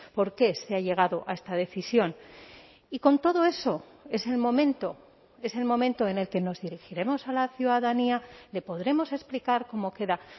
por qué se ha llegado a esta decisión y con todo eso es el momento es el momento en el que nos dirigiremos a la ciudadanía le podremos explicar cómo queda